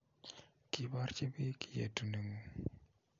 Kiborji bik yetuneng'ung'.